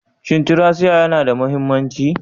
Shin tracia yana da mahimmanci?